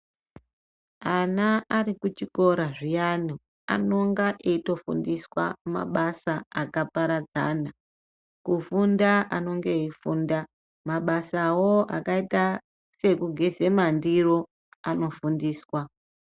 Ana Ari kuchikora zviyani Anonga eitofundiswa mabasa akaparadzana kufunda anonga eifunda mabasawo akaita sekugeza mandiro nekufundiswa.